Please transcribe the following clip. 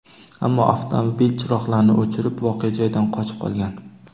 ammo avtomobil chiroqlarini o‘chirib voqea joyidan qochib qolgan.